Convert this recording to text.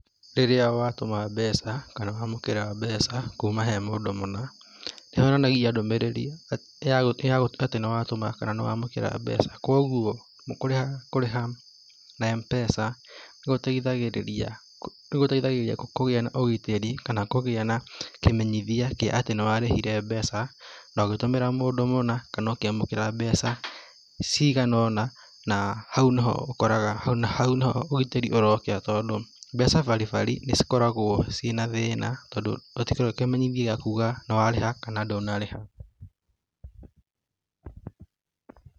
Rĩrĩa watũma mbeca, kana wamũkĩra mbeca kuuma he mũndũ mũna, nĩ yonanagia ndũmĩrĩri ya atĩ nĩ watũma kana nĩ waamũkĩra mbeca. Kwoguo kũrĩha na M-Pesa nĩ gũteithagĩrĩria, nĩ gũteithagĩrĩria kũgĩa ũgitĩri, kana kũgĩa na kĩmenyithia kĩa atĩ nĩ warĩhire mbeca, na ũgĩtũmĩra mũndũ mũna kana ũkĩamũkĩra mbeca cigana ũna na hau nĩ ho ũkoraga hau nĩ ho ũgitĩri ũrokĩra tondũ mbeca baribari nĩ cikoragũo ci na thĩĩna tondũ gũtikoragũo kĩmenyithia gĩa kuuga kana nĩ warĩha kana ndũnarĩha.